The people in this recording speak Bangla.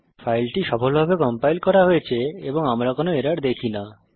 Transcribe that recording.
ফাইলটি সফলভাবে কম্পাইল করা হয়েছে এবং আমরা কোনো এরর দেখি না